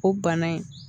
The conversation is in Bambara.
O bana in